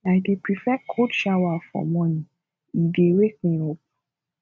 i dey prefer cold shower for morning e dey wake me up